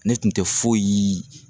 Ne tun te foyi